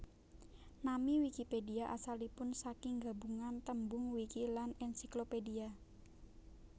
Nami Wikipédia asalipun saking gabungan tembung wiki lan encyclopedia